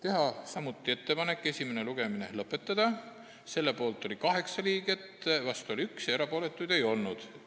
Otsustati teha ettepanek esimene lugemine lõpetada, selle poolt oli 8 liiget, vastu oli 1 ja erapooletuid ei olnud.